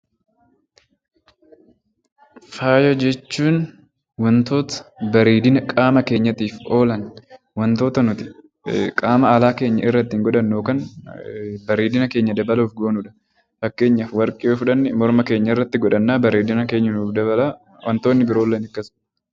Faaya jechuun wantoota bareedina qaama keenyaatiif oolan wantoota qaama alaa keenyarratti godhannu yookaan bareedina keenya dabaluuf goonudha. Fakkeenyaaf warqee yoo fudhanne morma keenyatti godhanna bareedina keenya nuuf dabala.